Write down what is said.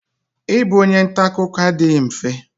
I bụ onye ntakụkọ adịghị mfe.